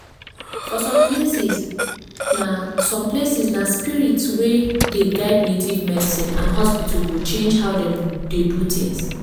for some places na some places na spirit way dey guide native medicine and hospital go change how dem dey do things.